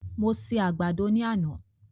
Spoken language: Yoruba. Mo se àgbàdo náà ní àná